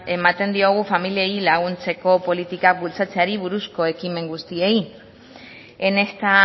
ematen diogu familiei laguntzeko politikak bultzatzeari buruzko ekimen guztiei en esta